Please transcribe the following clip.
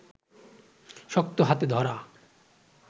শক্ত হাতে ধরা